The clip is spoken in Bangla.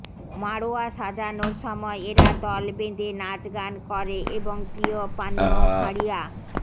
মাড়োয়া সাজানোর সময় এরা দলবেধে নাচগান করে এবং প্রিয় পানীয় হাড়িয়া